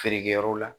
Feere kɛyɔrɔ la